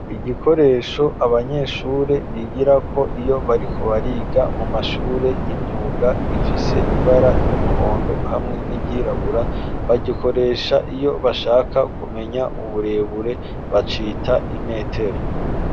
Igikoresho abanyeshure bigirako iyo bariko bariga mu mashure y'imyuga gifise ibara ry'umuhondo hamwe n'ivyirabura bagikoresha iyo bashaka kumenya uburebure bacita imetero.